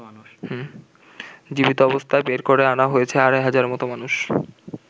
জীবিত অবস্থায় বের করে আনা হয়েছে আড়াই হাজারের মতো মানুষ।